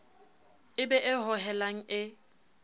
e be e hohelang e